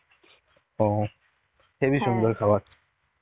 ও heavy সুন্দর খাবার.